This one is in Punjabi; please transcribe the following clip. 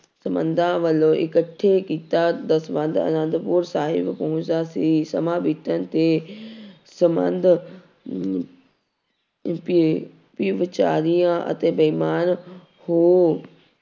ਸੰਬੰਧਾਂ ਵੱਲੋਂ ਇਕੱਠੀ ਕੀਤਾ ਦਸਵੰਧ ਆਨੰਦਪੁਰ ਸਾਹਿਬ ਪਹੁੰਚਦਾ ਸੀ ਸਮਾਂ ਬੀਤਣ ਤੇ ਸੰਬੰਧ ਵੀ ਬੇਚਾਰੀਆਂ ਅਤੇ ਬੇਈਮਾਨ ਹੋ